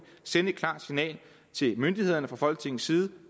sende et klart signal til myndighederne fra folketingets side